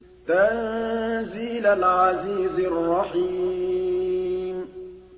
تَنزِيلَ الْعَزِيزِ الرَّحِيمِ